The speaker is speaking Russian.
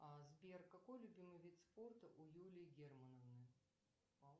а сбер какой любимый вид спорта у юлии германовны